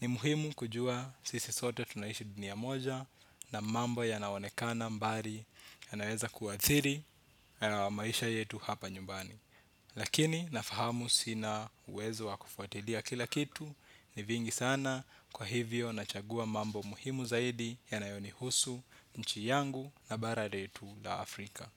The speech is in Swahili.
Ni muhimu kujua sisi sote tunaishi dunia moja na mambo yanaonekana mbari yanaweza kuathiri maisha yetu hapa nyumbani. Lakini nafahamu sina uwezo wa kufuatilia kila kitu ni vingi sana kwa hivyo nachagua mambo muhimu zaidi yanayo nihusu nchi yangu na bara letu la Afrika.